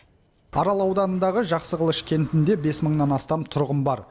арал ауданындағы жақсықылыш кентінде бес мыңнан астам тұрғын бар